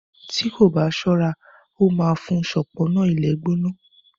tí kò bá ṣọra ó má fún un ṣọpọnna ilé gbóná.